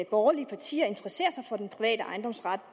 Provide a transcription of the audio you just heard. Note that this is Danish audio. borgerlige partier interesserer sig for den private ejendomsret